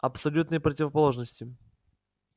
абсолютные противоположности